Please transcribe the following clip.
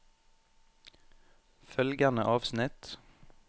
Følgende avsnitt